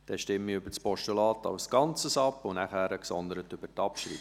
Dann stimmen wir über das Postulat als Ganzes ab und danach gesondert über die Abschreibung.